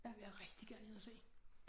Den vil jeg rigtig gerne ind og se